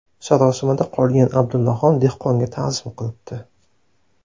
Sarosimada qolgan Abdullaxon dehqonga ta’zim qilibdi.